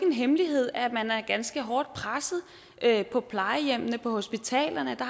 hemmelighed at man er ganske hårdt presset på plejehjemmene og på hospitalerne hvor